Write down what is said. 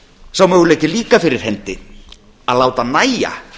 sá möguleiki er líka fyrir hendi að láta nægja